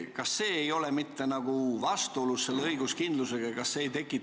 Kas see ei ole mitte selle õiguskindlusega vastuolus?